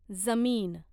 जमीन